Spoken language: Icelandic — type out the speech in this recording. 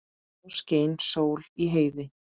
Þá skein sól í heiði.